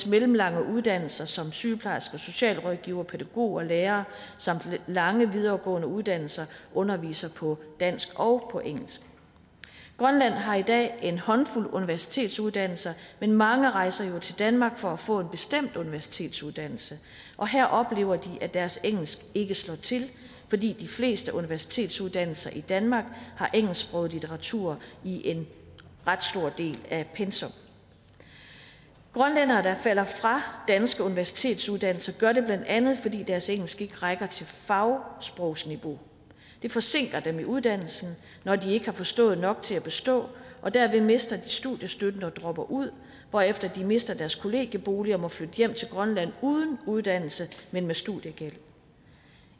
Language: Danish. mellemlange uddannelser som sygeplejerske socialrådgiver pædagog og lærer samt lange videregående uddannelser undervises på dansk og på engelsk grønland har i dag en håndfuld universitetsuddannelser men mange rejser jo til danmark for at få en bestemt universitetsuddannelse og her oplever de at deres engelsk ikke slår til fordi de fleste universitetsuddannelser i danmark har engelsksproget litteratur i en ret stor del af pensum grønlændere der falder fra danske universitetsuddannelser gør det blandt andet fordi deres engelsk ikke rækker til fagsprogsniveau det forsinker dem i uddannelsen når de ikke har forstået nok til at bestå og derved mister de studiestøtten og dropper ud hvorefter de mister deres kollegiebolig og må flytte hjem til grønland uden uddannelse men med studiegæld